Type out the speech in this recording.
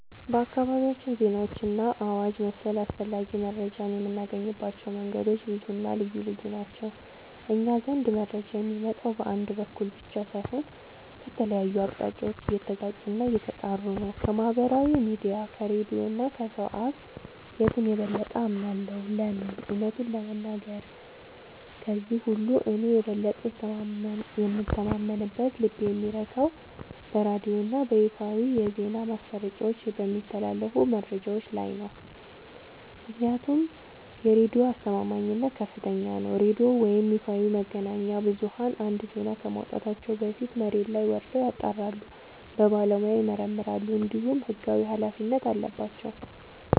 በአካባቢያችን ዜናዎችንና አዋጅ መሰል አስፈላጊ መረጃዎችን የምናገኝባቸው መንገዶች ብዙና ልዩ ልዩ ናቸው። እኛ ዘንድ መረጃ የሚመጣው በአንድ በኩል ብቻ ሳይሆን ከተለያዩ አቅጣጫዎች እየተጋጩና እየተጣሩ ነው። ከማኅበራዊ ሚዲያ፣ ከሬዲዮ እና ከሰው አፍ... የቱን የበለጠ አምናለሁ? ለምን? እውነቱን ለመናገር፣ ከእነዚህ ሁሉ እኔ የበለጠ የምተማመንበትና ልቤ የሚረካው በሬዲዮና በይፋዊ የዜና ማሰራጫዎች በሚተላለፉ መረጃዎች ላይ ነው። ምክንያቱም የሬዲዮ አስተማማኝነት ከፍተኛ ነው፤ ሬዲዮ ወይም ይፋዊ መገናኛ ብዙኃን አንድን ዜና ከማውጣታቸው በፊት መሬት ላይ ወርደው ያጣራሉ፣ በባለሙያ ይመረምራሉ፣ እንዲሁም ሕጋዊ ኃላፊነት አለባቸው።